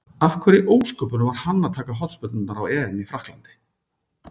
Af hverju í ósköpunum var hann að taka hornspyrnurnar á EM í Frakklandi?